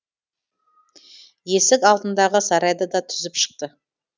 есік алдындағы сарайды да сүзіп шықты